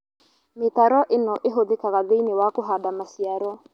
Mĩtaro ĩno ĩhũthĩkaga thĩinĩ wa kũhanda maciaro